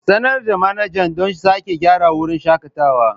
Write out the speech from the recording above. Sanar da manajan don sake gyara wurin shakatawa.